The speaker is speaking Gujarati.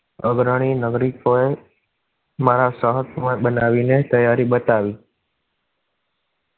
અગ્રણી નગરી. મારા સાહેબ બનાવી ને તૈયારી બતાઈ.